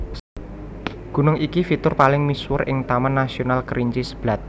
Gunung iki fitur paling misuwur ing Taman Nasional Kerinci Seblat